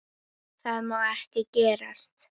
Það má ekki gerast.